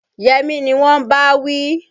Yẹmí ni wọn ń bá wí.